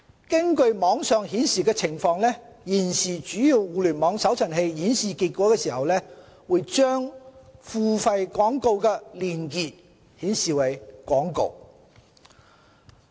根據網上顯示的情況，現時主要互聯網搜尋器顯示結果的時候，會把付費廣告的連結顯示為廣告。